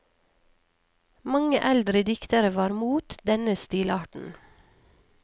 Mange eldre diktere var mot denne stilarten.